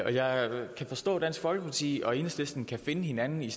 jeg kan forstå at dansk folkeparti og enhedslisten kan finde hinanden i